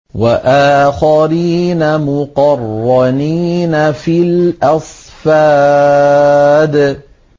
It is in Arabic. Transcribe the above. وَآخَرِينَ مُقَرَّنِينَ فِي الْأَصْفَادِ